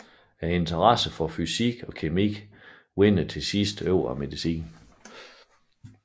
Interessen for fysik og kemi vinder til sidst over medicinen